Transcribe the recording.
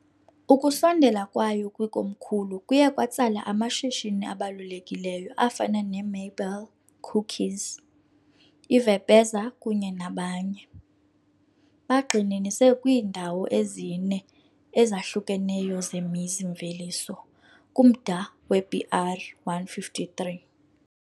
Ukusondela kwayo kwikomkhulu kuye kwatsala amashishini abalulekileyo afana neMabel, cookies, I-Vepeza kunye nabanye, bagxininise kwiindawo ezine ezahlukeneyo zemizi-mveliso kumda we-BR-153.